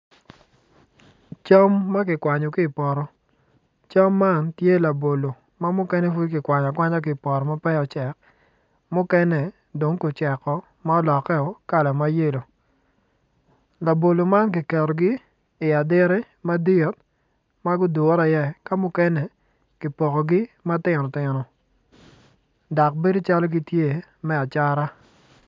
Cam makikwanyo ki poto cam man tye labolo ma mukene pud kikwanyo akwanya ki poto ma pud peya ocek mukene dong guceko ma oloke o kala mayelo labolo ma kiketogi i aditi madit magudure i ye kamukene ki pokogi matino tino dok bedo calo gitye me acata.